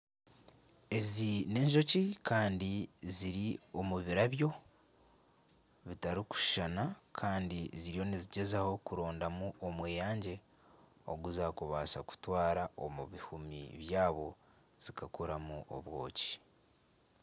Ezi n'enjoki Kandi ziri omu birabyo bitarikushushana Kandi ziriyo nizigyezaho kurondamu omweyangye oguzakubasa kutwara omu bihumi byazo zikakoramu obwoki.